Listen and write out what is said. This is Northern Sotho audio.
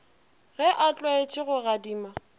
ge a tlwaetše go adima